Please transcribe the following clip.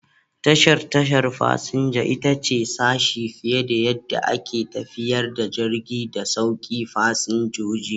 Tashar tashar fasinja ita ce sashe fiye da yadda ake tafiyar da jirgi da sauke fasinjoji.